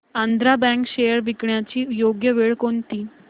Andhra bank shares विकण्याची योग्य वेळ कोणती